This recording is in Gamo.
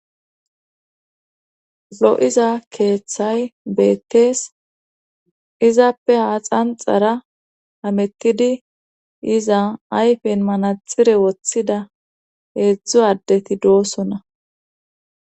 Zo7iza keeththay beettees izappe haaxanxara hamettidi yiza ayfen manatxtire wothida heedzdzu addeti doosona